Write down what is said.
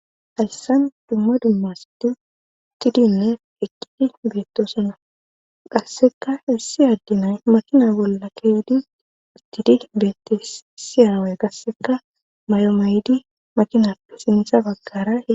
hayssan dumma dumma asati shiqidinne eqqidi beettosona qasseka issi adde nay makina bolla keydi istidi beettosona qasseka aaway may7o mayidi makinappe sintha baggara eqqidees